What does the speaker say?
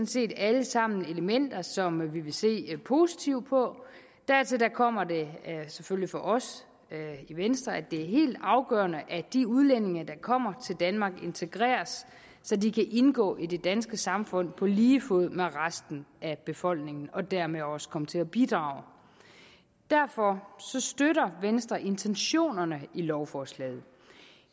set alle sammen elementer som vi vil se positivt på dertil kommer der selvfølgelig for os i venstre at det er helt afgørende at de udlændinge der kommer til danmark integreres så de kan indgå i det danske samfund på lige fod med resten af befolkningen og dermed også komme til at bidrage derfor støtter venstre intentionerne i lovforslaget